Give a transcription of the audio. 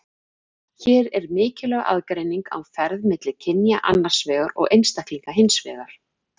Hér er mikilvæg aðgreining á ferð milli kynja annars vegar og einstaklinga hins vegar.